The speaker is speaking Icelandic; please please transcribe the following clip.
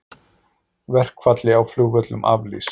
Verkfalli á flugvöllum aflýst